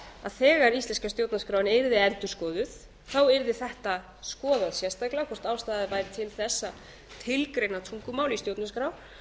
að þegar íslenska stjórnarskráin yrði endurskoðuð yrði þetta skoðað sérstaklega hvort ástæða væri til þess að tilgreina tungumál í stjórnarskrá